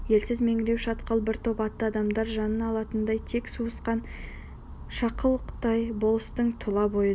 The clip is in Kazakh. елсіз меңіреу шатқал бір топ атты адамдар жанын алатындай тек сауысқан шықылықтайды болыстың тұла бойы дір